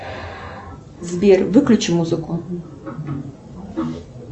сбер выключи музыку